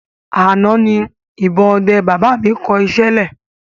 Àná ni ìbọn ọdẹ baba mi kọ iṣẹ́ lẹ̀